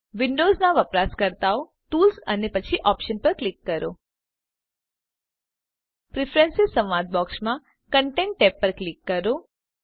વિન્ડોવ્ઝનાં વપરાશકર્તાઓ ટૂલ્સ અને પછી ઓપ્શન્સ પર ક્લિક કરો પ્રીફ્રેન્સીઝ સંવાદ બોક્સમાં કન્ટેન્ટ ટેબ પસંદ કરો